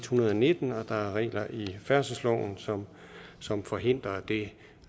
hundrede og nitten og der er regler i færdselsloven som som forhindrer det